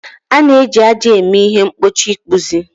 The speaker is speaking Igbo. A na-eji ájá eme ihe mgbochi ịkpụzi